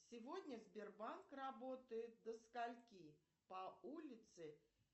сегодня сбербанк работает до скольки по улице